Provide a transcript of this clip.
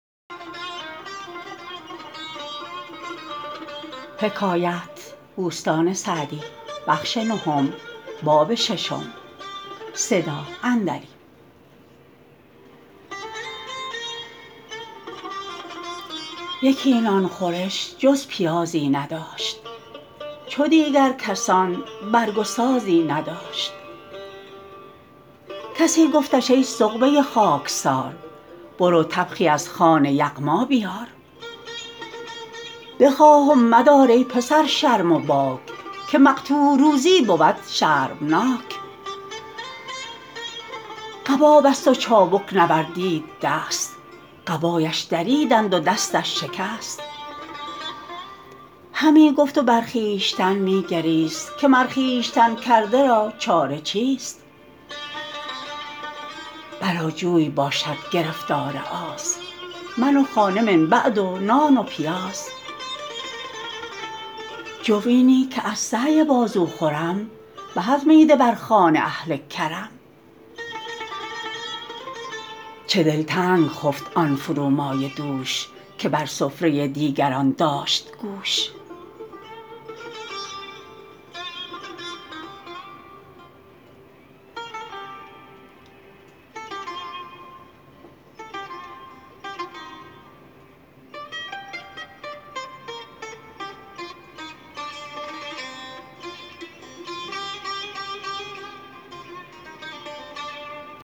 یکی نان خورش جز پیازی نداشت چو دیگر کسان برگ و سازی نداشت پراکنده ای گفتش ای خاکسار برو طبخی از خوان یغما بیار بخواه و مدار از کس ای خواجه باک که مقطوع روزی بود شرمناک قبا بست و چابک نوردید دست قبایش دریدند و دستش شکست شنیدم که می گفت و خون می گریست که ای نفس خودکرده را چاره چیست بلا جوی باشد گرفتار آز من و خانه من بعد و نان و پیاز جوینی که از سعی بازو خورم به از میده بر خوان اهل کرم چه دلتنگ خفت آن فرومایه دوش که بر سفره دیگران داشت گوش